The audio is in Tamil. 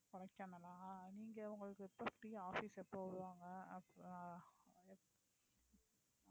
கொடைக்கானலா நீங்க உங்களுக்கு எப்போ free office எப்போ விடுவாங்க அப்~